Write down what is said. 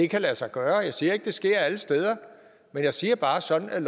kan lade sig gøre jeg siger ikke at det sker alle steder men jeg siger bare at sådan er